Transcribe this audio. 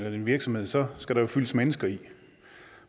er en virksomhed så skal der jo fyldes mennesker i